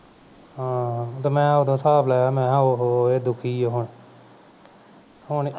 ਹਾਂ ਤੇ ਮੈਂ ਉਦੋਂ ਹਿਸਾਬ ਲਗਾਇਆ ਮੈਂ ਕਿਹਾ ਉਹ ਹੋ ਇਹ ਦੁਖੀ ਹੈ ਹੁਣ ਹੁਣ